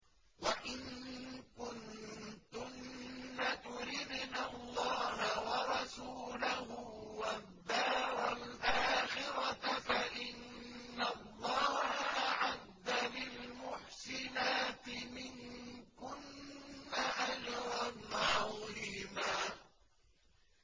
وَإِن كُنتُنَّ تُرِدْنَ اللَّهَ وَرَسُولَهُ وَالدَّارَ الْآخِرَةَ فَإِنَّ اللَّهَ أَعَدَّ لِلْمُحْسِنَاتِ مِنكُنَّ أَجْرًا عَظِيمًا